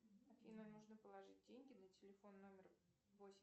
афина нужно положить деньги на телефон номер восемь